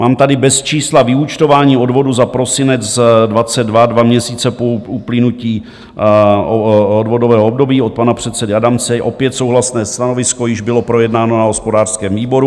Mám tady bez čísla vyúčtování odvodů za prosinec 2022, dva měsíce po uplynutí odvodového období, od pana předsedy Adamce, opět souhlasné stanovisko, již bylo projednáno na hospodářském výboru.